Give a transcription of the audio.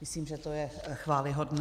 Myslím, že to je chvályhodné.